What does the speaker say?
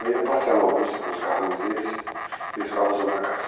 Eu ia passear na Augusta com os carrões deles e eles ficavam usando a casa.